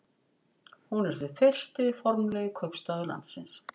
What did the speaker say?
Hún er því fyrsti formlegi kaupstaður landsins.